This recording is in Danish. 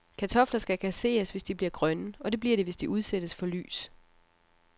Kartofler skal kasseres, hvis de bliver grønne, og det bliver de, hvis de udsættes for lys.